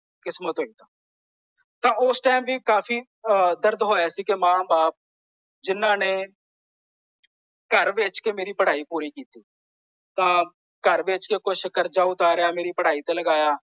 ਕਿਸਮਤ ਹੋਈ ਤਾਂ। ਤਾਂ ਉਸ ਟਾਈਮ ਵੀ ਕਾਫ਼ੀ ਦਰਦ ਹੋਇਆ ਸੀ ਕਿ ਮਾਂ ਬਾਪ ਜਿਨਾਂ ਨੇ ਘਰ ਵੇਚ ਕੇ ਮੇਰੀ ਪੜਾਈ ਪੂਰੀ ਕੀਤੀ। ਤਾਂ ਘਰ ਵੇਚ ਕੇ ਕੁੱਝ ਕਰਜ਼ਾ ਉਤਾਰਿਆ ਮੇਰੀ ਪੜਾਈ ਤੇ ਲਗਾਇਆ।